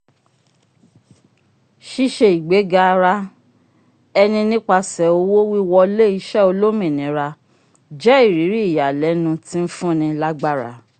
ṣiṣe igbega ara ẹni nipasẹ owo-wiwọle iṣẹ olómìnira jẹ iriri iyalẹnu tin fún ní lágbára